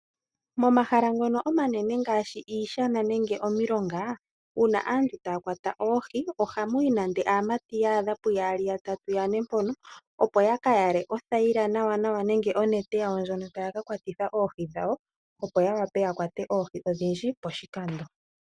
Momahala ngono omanene ngaashi iishana nenge omilonga, uuna aantu taya kwata oohi ohamu yi nande aamati yaadha puyaali, yatatu, yane mpono opo yaka yale othaila nawa nenge onete yawo ndjono taya ka kwatitha oohi dhawo, opo ya wape ya kwate oohi odhindji poshikando.